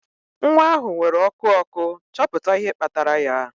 Nwa ahụ nwere ọkụ ọkụ, chọpụta ihe kpatara ya